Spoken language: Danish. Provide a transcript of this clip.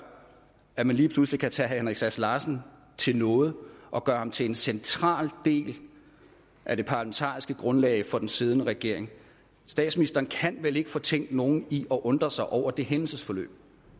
at man lige pludselig kan tage herre henrik sass larsen til nåde og gøre ham til en central del af det parlamentariske grundlag for den siddende regering statsministeren kan vel ikke fortænke nogen i at undre sig over det hændelsesforløb